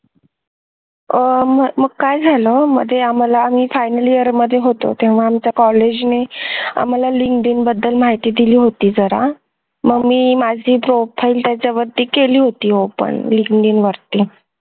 आह काय झालं मध्ये आम्हाला मी final year मध्ये होतो तेव्हा आमच्या college नी आम्हाला Linkdin बद्दल माहिती दिली होती जरा मग मी माझी job file त्याच्यावरती केली होती Linkdin वरती